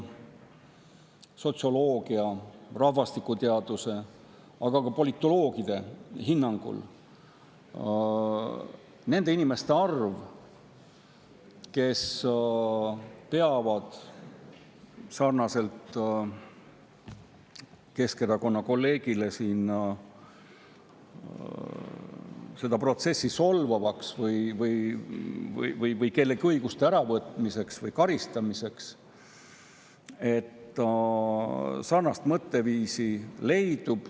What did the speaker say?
Sotsioloogide, rahvastikuteadlaste, aga ka politoloogide hinnangul leidub inimesi, kes peavad sarnaselt Keskerakonna kolleegiga seda protsessi solvavaks või kelleltki õiguste äravõtmiseks või kellegi karistamiseks.